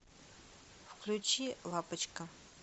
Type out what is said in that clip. включи лапочка